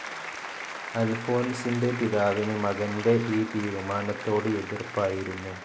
അൽഫോൻസിൻ്റെ പിതാവിന് മകൻ്റെ ഈ തീരുമാനത്തോട് എതിർപ്പായിരുന്നു.